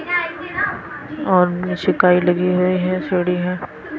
और नीचे काई लगी हुई है सड़ी है।